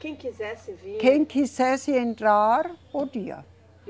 Quem quisesse vir. Quem quisesse entrar, podia.